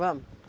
Vamos.